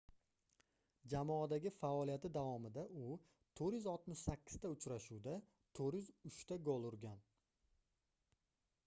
jamoadagi faoliyati davomida u 468 ta uchrashuvda 403 ta gol urgan